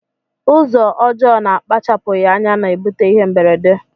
Ụzọ ọjọ na akpachapughi anya na ebute ihe mberede.